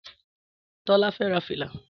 Tọ́lá fẹ́ ra fìlà